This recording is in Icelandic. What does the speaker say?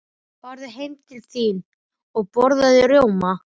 Farðu heim til þín og borðaðu rjóma.